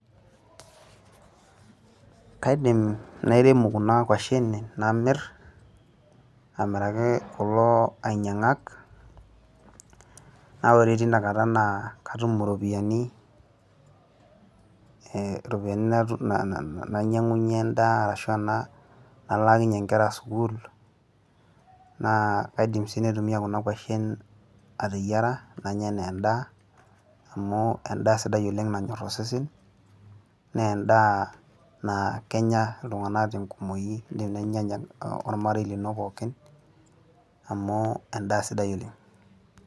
Kaidim nairemu kuna kwashen namir, amiraki kulo ainyang'ak, na ore tinakata naa katum iropiyiani, eh iropiyiani nainyang'unye endaa arashu nalaakinye nkera sukuul, naa kaidim si naitumia kuna kwashen ateyiara, nanya enaa endaa, amu endaa sidai oleng' nanyor osesen, na endaa naa kenya iltung'anak tenkumoyu teninyanya ormarei lino pookin, amu endaa sidai oleng'.